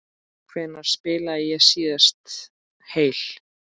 Hvenær spilaði ég síðast heill?